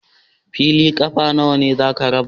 Fili ƙafa nawa za ka raba?